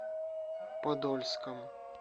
подольском